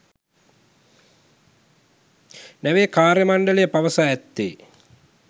නැවේ කාර්යමණ්ඩලය පවසා ඇත්තේ